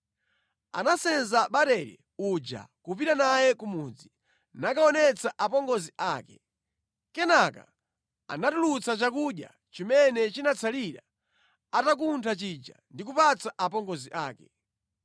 Anasenza barele uja kupita naye ku mudzi, nakaonetsa apongozi ake. Kenaka anatulutsa chakudya chimene chinatsalira atakhuta chija ndi kupatsa apongozi ake.